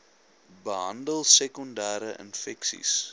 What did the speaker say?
behandel sekondere infeksies